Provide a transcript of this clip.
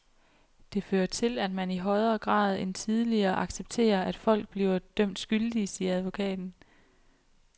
Det fører til, at man i højere grad end tidligere accepterer, at folk bliver dømt skyldige, siger advokaten.